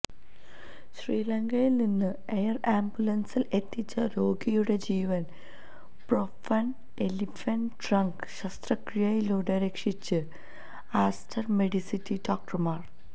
ശ്രീലങ്കയില് നിന്ന് എയര് ആംബുലന്സില് എത്തിച്ച രോഗിയുടെ ജീവന് ഫ്രോസണ് എലിഫന്റ് ട്രങ്ക് ശസ്ത്രക്രിയയിലൂടെ രക്ഷിച്ച് ആസ്റ്റര് മെഡ്സിറ്റി ഡോക്ടര്മാര്